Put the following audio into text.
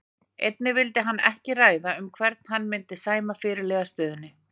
Einnig vildi hann ekki ræða um hvern hann myndi sæma fyrirliðastöðunni.